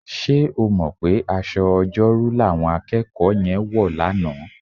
Ṣé o mọ̀ pé aṣọ Ọjọ́rú làwọn akẹ́kọ̀ọ́ yẹn wọ̀ lánàá?